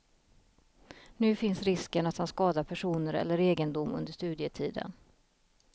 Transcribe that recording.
Nu finns risken att han skadar personer eller egendom under studietiden.